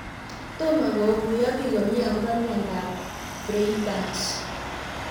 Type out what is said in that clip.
Tomo kokuyo piik komie akopo miondo ap Freiberg's